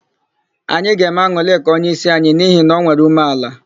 Anyị ga-eme An̄ụlịka onyeísi anyi n'ihi na o nwere ume ala.